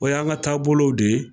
O y'an ka taabolow de ye.